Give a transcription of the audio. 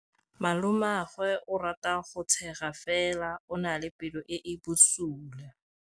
Malomagwe o rata go tshega fela o na le pelo e e bosula.